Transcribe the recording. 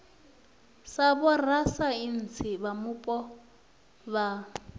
sa vhorasaintsi vha mupo vha